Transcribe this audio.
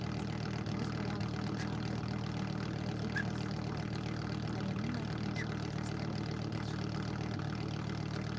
тығыз болғандықтан жарты күн ғана болды деп жазды қарин қариннің айтуынша қазақстан джеки чанға қатты